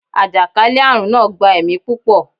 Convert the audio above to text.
àjàkálẹ̀-arun naa gba ẹmi pupọ